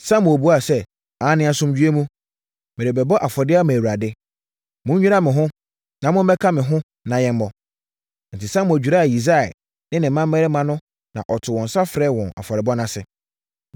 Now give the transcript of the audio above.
Samuel buaa sɛ, “Aane, asomdwoeɛ mu. Merebɛbɔ afɔdeɛ ama Awurade. Monnwira mo ho, na mommɛka me ho na yɛmmɔ.” Enti, Samuel dwiraa Yisai ne ne mmammarima no na ɔtoo nsa frɛɛ wɔn afɔrebɔ no ase.